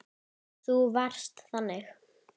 Og undir þessu sofnar enginn.